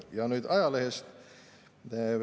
Ja nüüd ajalehest.